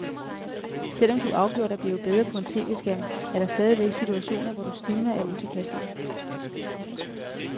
Selvom du afgjort er blevet bedre på en tv-skærm, er der stadigvæk situationer, hvor du stivner af utilpashed.